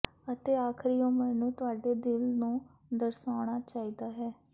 ਅਤੇ ਆਖਰੀ ਉਮਰ ਨੂੰ ਤੁਹਾਡੇ ਦਿਲ ਨੂੰ ਦਰਸਾਉਣਾ ਚਾਹੀਦਾ ਹੈ